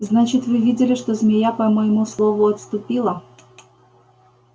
значит вы видели что змея по моему слову отступила